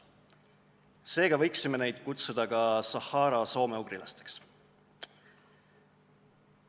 Seega võiksime neid kutsuda ka Sahara soomeugrilasteks.